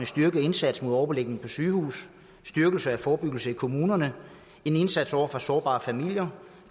styrket indsats mod overbelægning på sygehuse styrkelse af forebyggelse i kommunerne en indsats over for sårbare familier